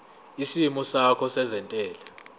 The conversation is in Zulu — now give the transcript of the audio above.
isimo sakho sezentela